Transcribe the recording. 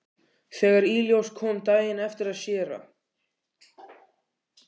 Þegar í ljós kom daginn eftir að séra